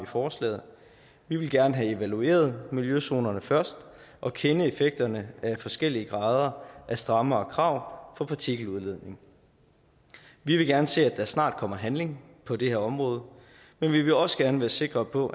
forslaget vi vil gerne have evalueret miljøzonerne først og kende effekterne af forskellige grader af strammere krav for partikeludledning vi vil gerne se at der snart kommer handling på det her område men vi vil også gerne være sikre på